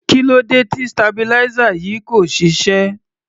Kí ló dé tí stabilizer yìí kò ṣiṣẹ́?